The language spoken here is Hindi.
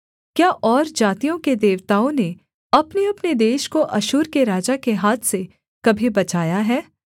क्या और जातियों के देवताओं ने अपनेअपने देश को अश्शूर के राजा के हाथ से कभी बचाया है